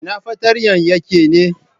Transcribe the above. Ina fartanya yake ne?